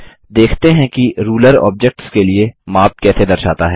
देखते हैं कि रूलर ऑब्जेक्ट्स के लिए माप कैसे दर्शाता है